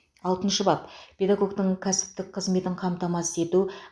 алтыншы бап педагогтің кәсіптік қызметін қамтамасыз ету